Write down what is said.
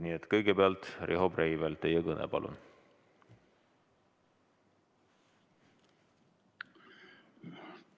Nii et kõigepealt Riho Breivel, teie kõne, palun!